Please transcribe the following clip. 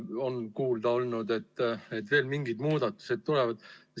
On kuulda olnud, et veel mingid muudatused tulevad.